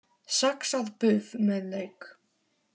Saxað buff með lauk